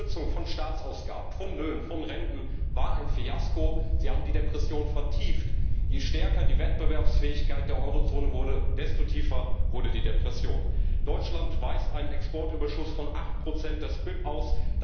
Die Kürzungen von Staatsausgaben, von Löhnen, von Renten waren ein Fiasko, sie haben die Depression vertieft. Je stärker die Wettbewerbsfähigkeit der Eurozone wurde, desto tiefer wurde die Depression. Deutschland weist einen Exportüberschuss von 8 des BIP aus.